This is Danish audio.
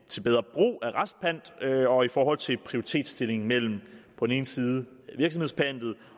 til bedre brug af retspant og i forhold til prioritetsstillingen mellem på den ene side virksomhedspantet